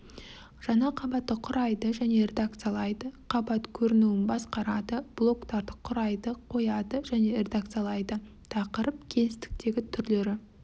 жаңа қабатты құрайды және редакциялайды қабат көрінуін басқарады блоктарды құрайды қояды және редакциялайды тақырып кеңістіктегі түрлері